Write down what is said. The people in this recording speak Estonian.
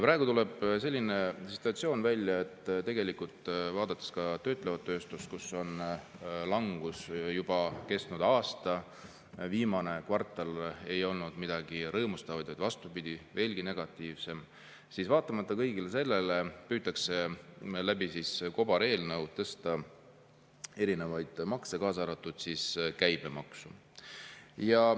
Praegu tuleb välja, vaadates ka töötlevat tööstust, kus langus on kestnud juba aasta – ka viimases kvartalis ei olnud midagi rõõmustavat, vaid vastupidi, see oli veelgi negatiivsem –, et vaatamata kõigele sellele püütakse kobareelnõuga tõsta erinevaid makse, kaasa arvatud käibemaksu.